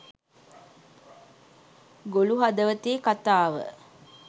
ගොළු හදවතේ කතාව